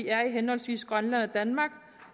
er i henholdsvis grønland og danmark